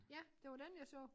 Ja det var dén jeg så